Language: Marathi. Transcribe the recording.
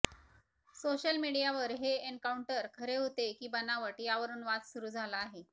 सोशल मीडियावर हे एन्काउंटर खरे होते की बनावट यावरून वाद सुरू झाला आहे